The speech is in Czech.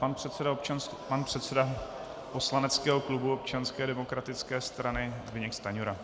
Pan předseda poslaneckého klubu Občanské demokratické strany Zbyněk Stanjura.